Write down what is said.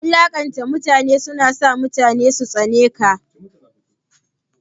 Wulanƙanta mutane na sa mutane su tsane ka.